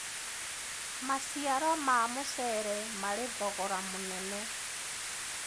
maciaro ma mucere mari thgora munene